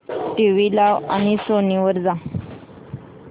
TV लाव आणि Sony वर जा